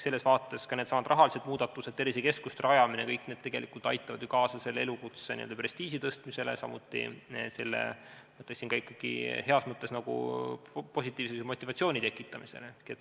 Selles vaates ka needsamad rahalised muudatused ja tervisekeskuste rajamine tegelikult aitavad ju kaasa selle elukutse prestiiži tõstmisele, samuti ikkagi heas mõttes positiivse motivatsiooni tekitamisele.